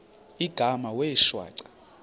igama wee shwaca